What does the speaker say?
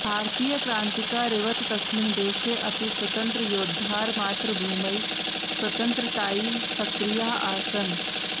भारतीयक्रान्तिकारिवत् तस्मिन् देशे अपि स्वतन्त्रयोद्धारः मातृभूमेः स्वतन्त्रतायै सक्रियाः आसन्